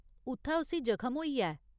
उत्थै उस्सी जख्म होइआ ऐ।